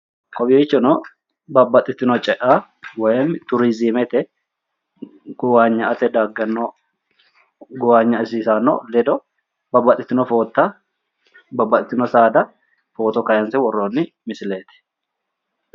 Kowiichono babbaxitino cea woyim turiizimete gowaanya'ate daggano gowaanyaisiisaano ledo babbaxitino foota babbaxitino saada footo kaayinse worroonni misileeti.